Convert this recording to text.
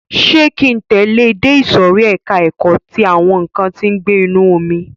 Ṣé ki ń tẹ̀lẹ́ ẹ dé ìsòrí ẹka ẹ̀kọ́ ti àwọn nǹkan tí ó ń gbé inú omi?